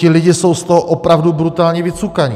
Ti lidé jsou z toho opravdu brutálně vycukaní.